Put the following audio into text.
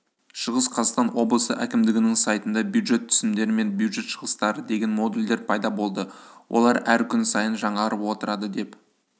шығыс қазақстан облысы әкімдігінің сайтында бюджет түсімдері мен бюджет шығыстары деген модульдер пайда болды олар әр күн сайын жаңарып отырады деп